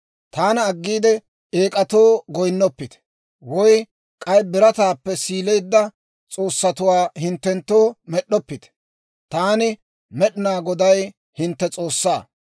« ‹Taana aggiide eek'atoo goyinnoppite; woy k'ay birataappe siilisseedda, s'oossatuwaa hinttenttoo med'd'oppite. Taani, Med'inaa Goday, hintte S'oossaa.